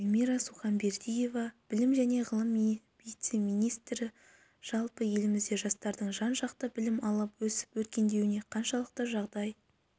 эльмира сұханбердиева білім және ғылым вице-министрі жалпы елімізде жастардың жан жақты білім алып өсіп-өркендеуіне қаншалықты жағдай